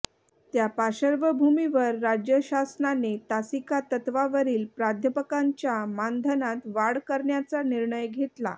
त्या पार्श्वभूमीवर राज्य शासनाने तासिका तत्वावरील प्राध्यापकांच्या मानधनात वाढ करण्याचा निर्णय घेतला